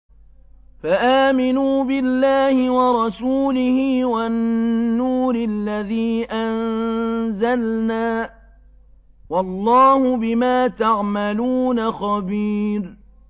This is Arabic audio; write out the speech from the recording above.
فَآمِنُوا بِاللَّهِ وَرَسُولِهِ وَالنُّورِ الَّذِي أَنزَلْنَا ۚ وَاللَّهُ بِمَا تَعْمَلُونَ خَبِيرٌ